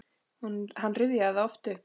Hann rifjaði það oft upp.